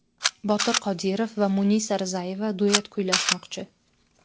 Botir Qodirov va Munisa Rizayeva duet kuylashmoqchi.